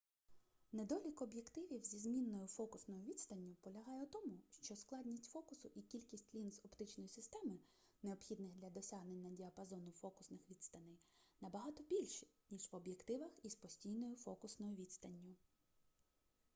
недолік об'єктивів зі змінною фокусною відстанню полягає у тому що складність фокусу і кількість лінз оптичної системи необхідних для досягнення діапазону фокусних відстаней набагато більші ніж в об'єктивах із постійною фокусною відстанню